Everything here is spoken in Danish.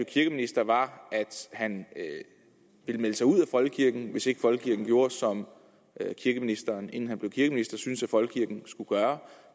kirkeminister var at han ville melde sig ud af folkekirken hvis ikke folkekirken gjorde som kirkeministeren inden han blev kirkeminister syntes at folkekirken skulle gøre